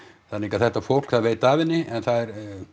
þannig að þetta fólk viet af henni en það